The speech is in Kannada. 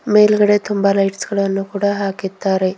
ಮೇಲ್ಗಡೆ ತುಂಬ ಲೈಟ್ಸ್ ಗಳನ್ನು ಕೂಡ ಹಾಕಿದ್ದಾರೆ.